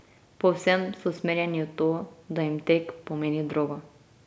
Povsem so usmerjeni v to, da jim tek pomeni drogo.